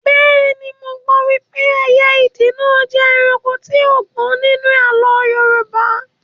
Bẹ́ẹ̀ni, mo gbọ́ wípé ẹyẹ ìdì náà jẹ́ ẹranko tí ó gbọ́n nínú àlọ́ Yorùbá